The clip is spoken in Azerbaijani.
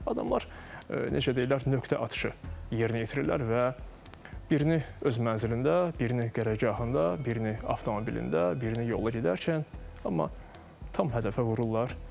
Adamlar necə deyirlər, nöqtə atışı yerinə yetirirlər və birini öz mənzilində, birini qərargahında, birini avtomobilində, birini yolla gedərkən, amma tam hədəfə vururlar.